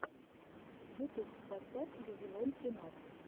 ютуб поставь вавилон тринадцать